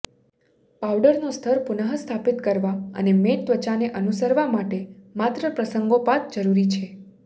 પાવડરનો સ્તર પુનઃસ્થાપિત કરવા અને મેટ ત્વચાને અનુસરવા માટે માત્ર પ્રસંગોપાત જરુરી છે